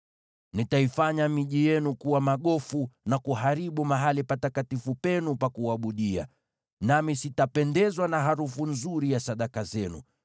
Nitaifanya miji yenu kuwa magofu, na kuharibu mahali patakatifu penu pa kuabudia, nami sitapendezwa na harufu nzuri ya sadaka zenu.